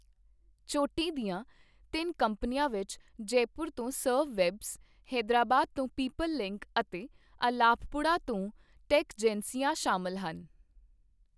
ਚੋਟੀ ਦੀਆਂ ਤਿੰਨ ਕੰਪਨੀਆਂ ਵਿੱਚ ਜੈਪੁਰ ਤੋਂ ਸਰਵ ਵੈਬਸ, ਹੈਦਰਾਬਾਦ ਤੋਂ ਪੀਪਲ ਲਿੰਕ ਅਤੇ ਅਲਾਪ੍ਪੁੜਾ ਤੋਂ ਟੇਕਜੈਂਸੀਆ ਸ਼ਾਮਲ ਹਨ।